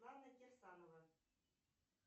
лана кирсанова